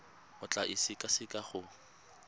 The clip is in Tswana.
o tla e sekaseka go